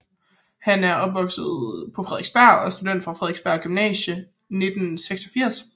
Han er opvokset på Frederiksberg og student fra Frederiksberg Gymnasium 1986